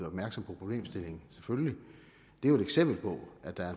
opmærksom på problemstillingen selvfølgelig er et eksempel på at der